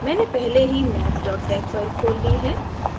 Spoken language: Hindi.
मैंने पहले ही maths tex file खोल ली है